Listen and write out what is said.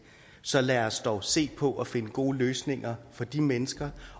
så lad os dog se på at finde gode løsninger for de mennesker